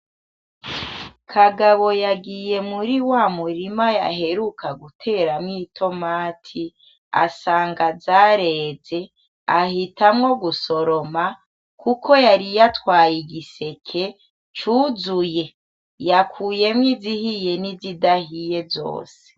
Kagabo yagiye muri wa murima yaheruka guteramwo i "tomate" asanga zareze ahitamwo gusoroma kuko yari yatwaye igiseke, cuzuye, yakuyemwo izihiye nizidahiye zose.